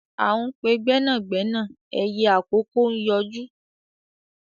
À ń pe gbẹ́nàgbẹ́nà ẹyẹ àkókó ń yọjú